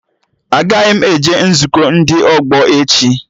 Agaghị m eje nzukọ ndị ọgbọ echi